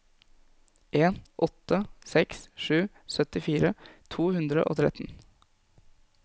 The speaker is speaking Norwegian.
en åtte seks sju syttifire to hundre og tretten